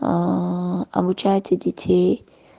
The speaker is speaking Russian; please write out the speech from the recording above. аа обучайте детей